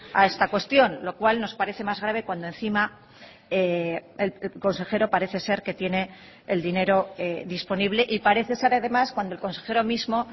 a esta cuestión lo cual nos parece más grave cuando encima el consejero parece ser que tiene el dinero disponible y parece ser además cuando el consejero mismo